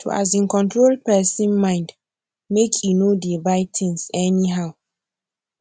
to um control person mind make e nor dey buy thing any how